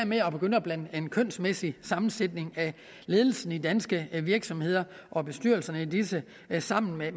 med at begynde at blande den kønsmæssige sammensætning af ledelsen af danske virksomheder og bestyrelserne i disse sammen med